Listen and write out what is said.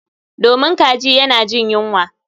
Domin kaji yana jin yunwa